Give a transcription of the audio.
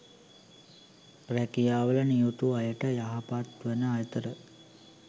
රැකියාවල නියුතු අයට යහපත්වන අතර